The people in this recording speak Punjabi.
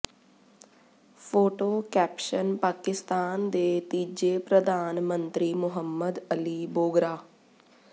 ਫੋਟੋ ਕੈਪਸ਼ਨ ਪਾਕਿਸਤਾਨ ਦੇ ਤੀਜੇ ਪ੍ਰਧਾਨ ਮੰਤਰੀ ਮੁਹੰਮਦ ਅਲੀ ਬੋਗਰਾ